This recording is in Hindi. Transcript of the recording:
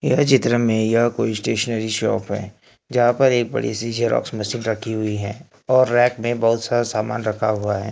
यह चित्र में यह कोई स्टेशनरी शॉप है जहां पर एक बड़ी सी जेरॉक्स मशीन रखी हुई है और रैक में बहुत सारा सामान रखा हुआ है।